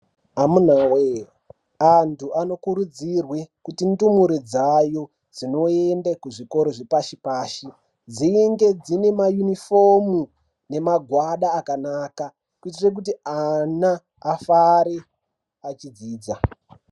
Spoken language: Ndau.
Amuna voye antu anokurudzirwe kuti ndumure dzayo dzinoende kuzvikoro zvepashi-pashi. Dzinge dzine mayunifomu nemagwada akanaka. Kuitire kuti ana afare achidzidza.